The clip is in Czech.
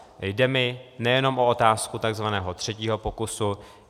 Jde mi nejen o otázku tzv. třetího pokusu.